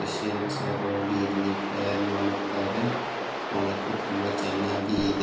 Christians ಅವರು ಹೋಗಿ ಇಲ್ಲಿ ಪ್ರೇಯರ್ ಮಾಡುತ್ತಾರೆ ನೋಡಕೆ ತುಂಬಾ ಚೆನ್ನಾಗಿ ಇದೆ.